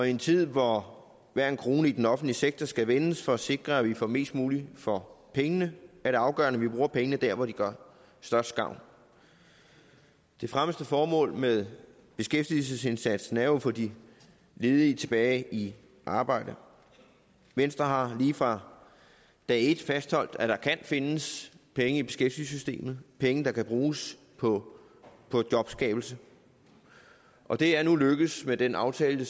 i en tid hvor hver en krone i den offentlige sektor skal vendes for at sikre at vi får mest muligt for pengene er det afgørende at vi bruger pengene der hvor de gør størst gavn det fremmeste formål med beskæftigelsesindsatsen er jo at få de ledige tilbage i arbejde venstre har lige fra dag et fastholdt at der kan findes penge i beskæftigelsessystemet penge der kan bruges på jobskabelse og det er nu lykkedes med den aftale